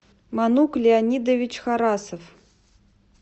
манук леонидович харасов